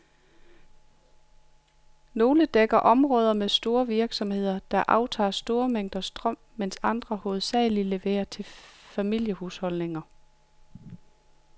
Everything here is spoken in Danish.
Nogle dækker områder med store virksomheder, der aftager store mængder strøm, mens andre hovedsageligt leverer til familiehusholdninger.